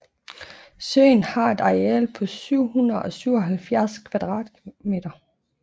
Søen har et areal på 777 km²